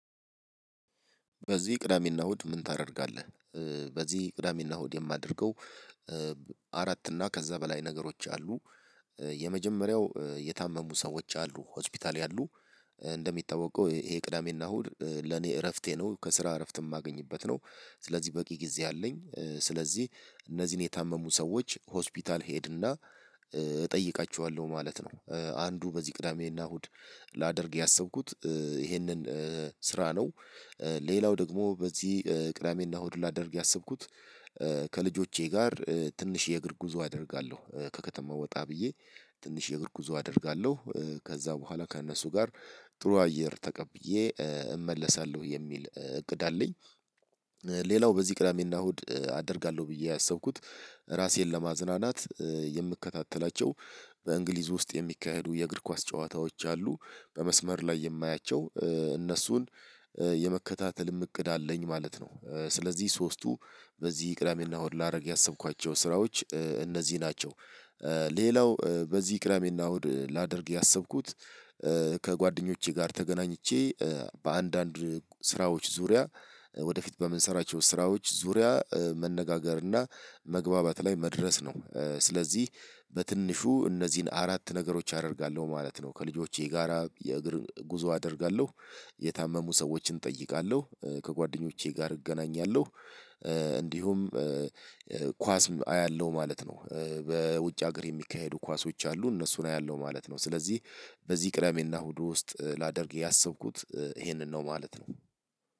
በዚህ ቅዳሜና እሁድ ምን ታደርጋለህ? እ በዚህ ቅዳሜና እሁድ የማደርገው እ አራት እና ከዛ በላይ ነገሮች አሉ እ የመጀመሪያው የታመሙ ሰዎች አሉ ሆስፒታል ያሉ። እ እንደሚታወቀው ይሄ ቅዳሜና እሁድ ለኔ እረፍቴ ነው ከስራ እረፍት የማገኝበት ነው። ስለዚህ በቂ ጊዜ አለኝ እ ስለዚህ እነዚህን የታመሙ ሰዎች ሆስፒታል ሄድና እ እጠይቃቸዋለሁ ማለት ነው። አንዱ በዚህ ቅዳሜና እሁድ ላደርግ ያሰብኩት እ ይሄንን ስራ ነው። እ ሌላው ደግሞ በዚህ እ ቅዳሜና እሁድ ላደርግ ያሰብኩት እ ከልጆቼ ጋር እ ትንሽ የእግር ጉዞ አደርጋለሁ ከከተማ ወጣ ብዬ ትንሽ የእግር ጉዞ አደርጋለሁ ከዛ በኋላ ከእነሱ ጋር ጥሩ አየር ተቀብዬ እ እመለሳለሁ የሚል እ እቅድ አለኝ። ሌላው በዚህ ቅዳሜና እሁድ እ አደርጋለሁ ብዬ ያሰብኩት ራሴን ለማዝናናት እ የምከታተላቸው በእንግሊዝ ውስጥ የሚካሄዱ የእግር ኳስ ጨዋታዎች አሉ በመስመር ላይ የማያቸው እ እነሱን የመከታተልም እቅድ አለኝ ማለት ነው። ስለዚህ ሶስቱ በዚህ ቅዳሜና እሁድ ላረግ ያሰብኳቸው ስራዎች እ እነዚህ ናቸው። እ ሌላው እ በዚህ ቅዳሜና እሁድ ላደርግ ያሰብኩት እ ከጓደኞቼ ጋር ተገናኝቼ እ በአንዳንድ ስራዎች ዙሪያ እ ወደፊት በምንሰራቸው ስራዎች ዙሪያ እ መነጋገር እና መግባባት ላይ መድረስ ነው። እ ስለዚህ በትንሹ እነዚህን አራት ነገሮች አደርጋለሁ ማለት ነው። ከልጆቼ ጋራ የእግር ጉዞ አደርጋለሁ። የታመሙ ሰዎችን እጠይቃለሁ እ ከጓደኞቼ ጋር እገናኛለሁ። እ እንዲሁም እ እ ኳስም አያለሁ ማለት ነው። እ በውጭ ሀገር የሚካሄዱ ኳሶች አሉ እነሱን አያለው ማለት ነው። ስለዚህ በዚህ ቅዳሜና እሁዱ ውስጥ ላደርግ ያሰብኩት ይሄንን ነው ማለት ነው።